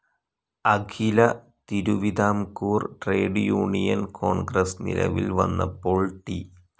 അഖില Thiruvithamkoor Trade Union Congress നിലവിൽവന്നപ്പോൾ T.